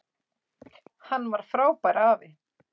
Hann var frábær afi.